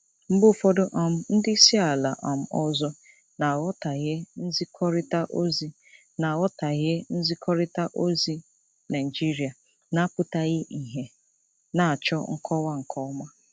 Mgbe ụfọdụ um ndị isi ala um ọzọ na-aghọtahie nzikọrịta ozi na-aghọtahie nzikọrịta ozi Naijiria na-apụtaghị ìhè, na-achọ nkọwa nke ọma.